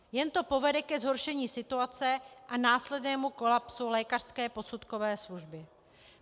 Jen to povede ke zhoršení situace a následnému kolapsu lékařské posudkové služby.